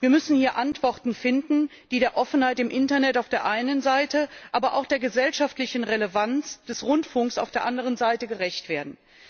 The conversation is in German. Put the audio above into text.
Wir müssen hier Antworten finden, die der Offenheit im Internet auf der einen Seite, aber auch der gesellschaftlichen Relevanz des Rundfunks auf der anderen Seite gerecht werden.